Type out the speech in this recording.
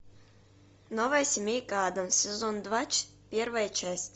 новая семейка адамс сезон два первая часть